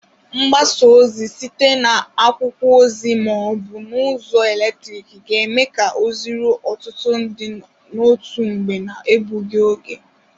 Mgbasa ozi site n'akwụkwọ ozi ma ọ bụ n'ụzọ eletriki ga-eme ka ozi ruo ọtụtụ ndị n'otu mgbe na-ebụghi oge.